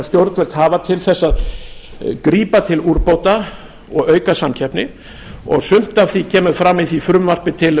stjórnvöld hafa til þess að grípa til úrbóta og auka samkeppni og sumt af því kemur fram í því frumvarpi til